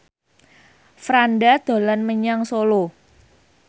Franda dolan menyang Solo